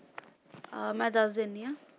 ਅਹ ਮੈਂ ਦਿੰਨੀ ਹਾਂ